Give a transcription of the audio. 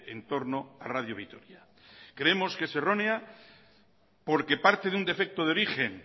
en torno a radio vitoria creemos que es errónea porque parte de un defecto de origen